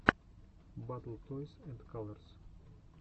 батл тойс энд калорс